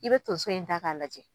I bɛ to so in ta k'a lajɛ.